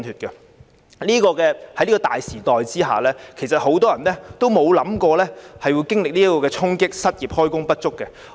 在這個大時代之下，很多人也沒有預料到會經歷這個衝擊、失業、開工不足等。